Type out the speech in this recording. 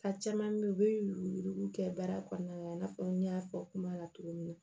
A caman bɛ yen u bɛ yurugu kɛ baara kɔnɔna na i n'a fɔ n y'a fɔ kuma la cogo min na